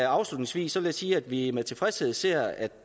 afslutningsvis vil jeg sige at vi med tilfredshed ser at